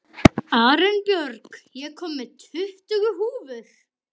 Arinbjörg, ég kom með tuttugu húfur!